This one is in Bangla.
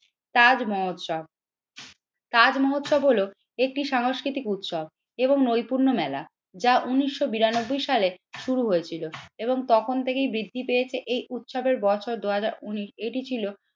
তাজ মহোৎসব তাজ মহোৎসব হলো একটি সাংস্কৃতিক উৎসব এবং নৈপুর্য মেলা যা উন্নিশশো বিরানব্বই সালে শুরু হয়েছিল এবং তখন থেকেই বৃদ্ধি পেয়েছে এই উৎসবের বছর দুই হাজার উন্নিশ। এটি ছিল